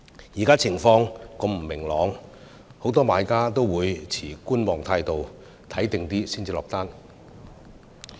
現時情況如此不明朗，很多買家也持觀望態度，看清楚再下訂單。